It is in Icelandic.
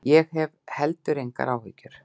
Ég hef heldur engar áhyggjur.